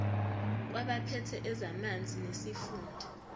kwabaphethe ezamanzi nesifunda